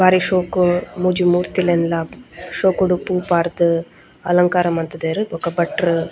ಬಾರಿ ಶೋಕು ಮೂಜಿ ಮೂರ್ತಿಲೆನ್ಲ ಶೋಕುಡು ಪೂ ಪಾರ್ದ್ ಅಲಂಕಾರ ಮಂತುದೆರ್ ಬೊಕ ಭಟ್ರ್--